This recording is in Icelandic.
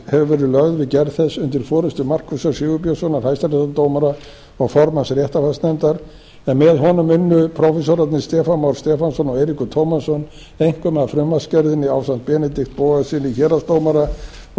lögð við gerð þess undir forustu markúsar sigurbjörnssonar hæstaréttardómara og formanns réttarfarsnefndar en með honum unnu prófessorarnir stefán már stefánsson og eiríkur tómasson einkum að frumvarpsgerðinni ásamt benedikt bogasyni héraðsdómara og